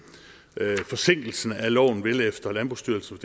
forsinkelsen af loven vil efter landbrugsstyrelsens